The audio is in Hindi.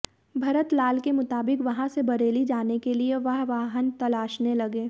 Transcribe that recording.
भरत लाल के मुताबिक वहां से बरेली जाने के लिए वह वाहन तलाशने लगे